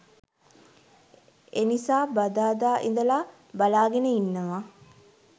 එනිසා බදාදා ඉඳලා බලාගෙන ඉන්නවා